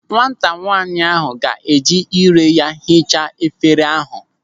Nwata nwaanyị ahụ ga-eji ire ya hichaa efere ahụ.